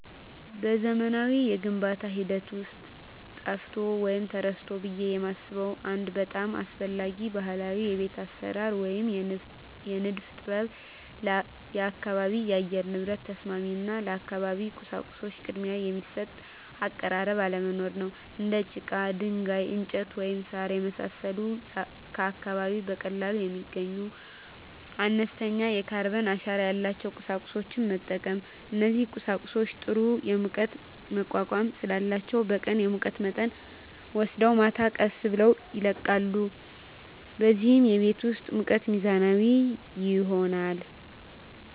በዘመናዊው የግንባታ ሂደት ውስጥ ጠፍቷል ወይም ተረስቷል ብዬ የማስበው አንድ በጣም አስፈላጊ ባህላዊ የቤት አሰራር ወይም የንድፍ ጥበብ የአካባቢ የአየር ንብረት ተስማሚ እና ለአካባቢው ቁሳቁሶች ቅድሚያ የሚሰጥ አቀራረብ አለመኖር ነው። እንደ ጭቃ፣ ድንጋይ፣ እንጨት፣ ወይም ሣር የመሳሰሉ ከአካባቢው በቀላሉ የሚገኙና አነስተኛ የካርበን አሻራ ያላቸውን ቁሳቁሶች መጠቀም። እነዚህ ቁሳቁሶች ጥሩ የሙቀት መቋቋም ስላላቸው በቀን የሙቀት መጠንን ወስደው ማታ ቀስ ብለው ይለቃሉ፣ በዚህም የቤት ውስጥ ሙቀት ሚዛናዊ ይሆናል።